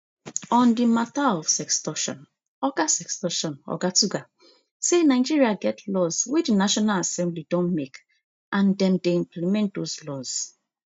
on di mata of sextortion oga sextortion oga tuggar say nigeria get laws wey di national assembly don make and dem dey implement those laws